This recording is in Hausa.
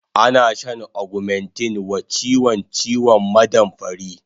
Ana shan augmentin wa chiwon ciwon maɗamfari